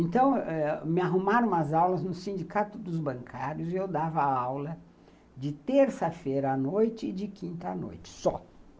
Então eh, me arrumaram as aulas no Sindicato dos Bancários e eu dava aula de terça-feira à noite e de quinta-noite só.